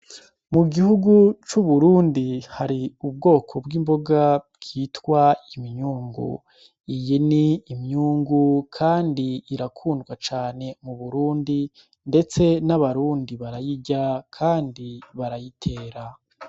Mu gihugu c'uburundi hari ubwoko bw'imboga bwitwa iminyungu iyi ni imyungu, kandi irakundwa cane mu burundi, ndetse n'abarundi barayirya, kandi barayitera.